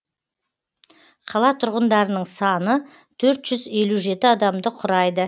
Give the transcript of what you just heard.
қала тұрғындарының саны төрт жүз елу жеті адамды құрайды